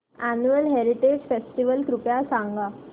annual heritage festival कृपया सांगा